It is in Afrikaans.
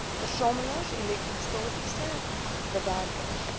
versamelaars elektrostatiese bewerkers